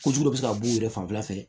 Ko jugu bɛ se ka b'u yɛrɛ fanfɛ